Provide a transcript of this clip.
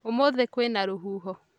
Ũmũthĩ kwĩna rũhuho